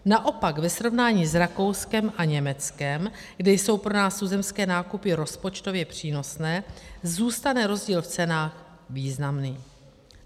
Naopak ve srovnání s Rakouskem a Německem, kde jsou pro nás tuzemské nákupy rozpočtově přínosné, zůstane rozdíl v cenách významný.